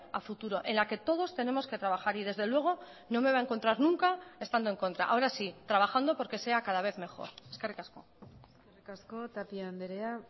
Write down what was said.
a futuro en la que todos tenemos que trabajar y desde luego no me va a encontrar nunca estando en contra ahora sí trabajando porque sea cada vez mejor eskerrik asko eskerrik asko tapia andrea